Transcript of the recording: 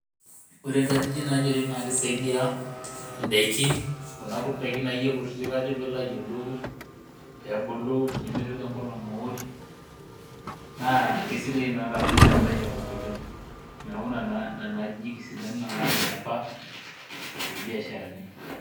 Ore nkajijik naanyori naa keisaidia ndaikin kuna kuti daikin akeyie kutitik ntoki naa ayiolou pee meitoki enkolong aosh naa aisidai naa too lairemok oleng niaku nena ajijik isidain alang niaapa too lbiasharani